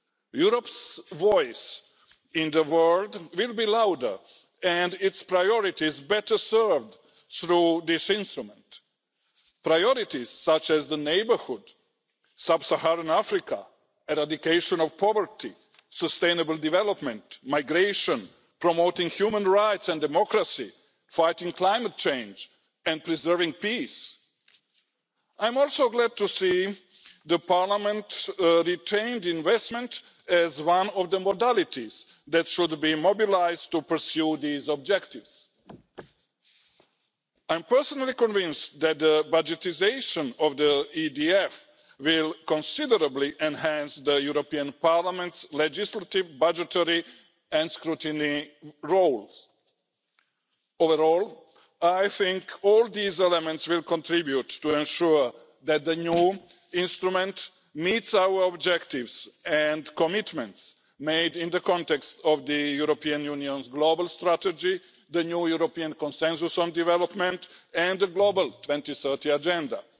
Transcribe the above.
Europe's voice in the world will be louder and its priorities better served through this instrument priorities such as the neighbourhood, sub Saharan Africa, eradication of poverty, sustainable development, migration, promoting human rights and democracy, fighting climate change and preserving peace. I am also glad to see Parliament retained investment as one of the modalities that should be mobilised to pursue these objectives. I am personally convinced that the budgetisation of the European Development Fund will considerably enhance the European Parliament's legislative, budgetary and scrutiny roles. Overall, I think all these elements will contribute to ensuring that the new instrument meets our objectives and commitments made in the context of the European Union's global strategy, the new European consensus on development and the global 2030 Agenda.